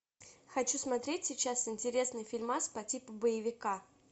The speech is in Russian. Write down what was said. хочу смотреть сейчас интересный фильмас по типу боевика